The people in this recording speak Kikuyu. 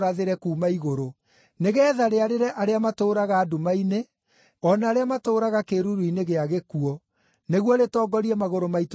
nĩgeetha rĩarĩre arĩa matũũraga nduma-inĩ, o na arĩa matũũraga kĩĩruru-inĩ gĩa gĩkuũ, nĩguo rĩtongorie magũrũ maitũ njĩra-inĩ ya thayũ.”